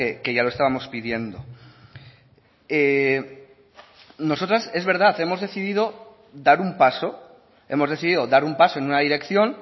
que ya lo estábamos pidiendo nosotras es verdad hemos decidido dar un paso hemos decidido dar un paso en una dirección